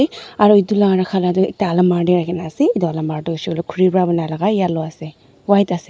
aru edu la rakha la toh ekta almara tae rakhina ase edu almara tu hoishey koilae khuri pa banai lala yellow ase white --